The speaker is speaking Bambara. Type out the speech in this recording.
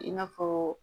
I n'a fɔ